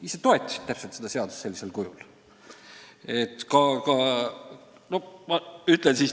Te ise toetasite seda seadust sellisel kujul!